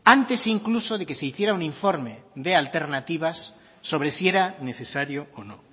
antes incluso de que se hiciera un informe de alternativas sobre si era necesario o no